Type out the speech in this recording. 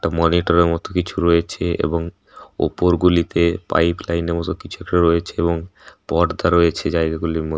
একটা মনিটরের এর মতো কিছু রয়েছে এবং ওপর গুলিতে পাইপ লাইন এর মতো কিছু একটা রয়েছে এবং পর্দা রয়েছে জায়গা গুলির মধ্--